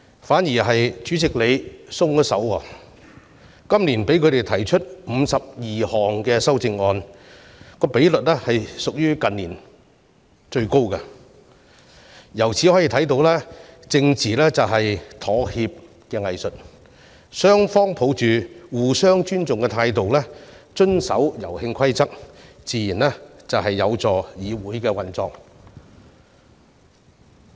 反倒是主席今年"鬆手"了，讓反對派提出52項修正案，比率屬於近年最高，可見政治便是妥協的藝術，雙方抱着互相尊重的態度遵守遊戲規則，自然會有助議會運作。